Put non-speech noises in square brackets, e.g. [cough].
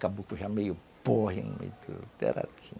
[unintelligible] já meio porre no meio do... Era assim.